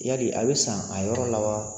Yali a bɛ san a yɔrɔ la wa?